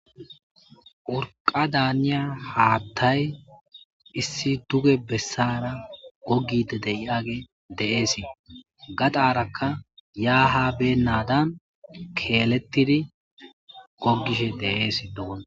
Urqadda haniza haaththay issi duge besara gogidi deagey Deasi gadaraka ya ha Benadan keletidi Gogishe Deasi